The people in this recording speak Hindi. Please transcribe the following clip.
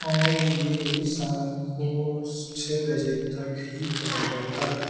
और ये शाम को छः बजे तक ही खुला रहता है ।